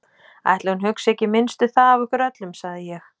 Ætli hún hugsi ekki minnst um það af okkur öllum, sagði ég.